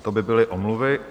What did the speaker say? To by byly omluvy.